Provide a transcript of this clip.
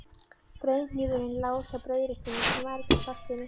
Brauðhnífurinn lá hjá brauðinu sem var ekki í plastinu.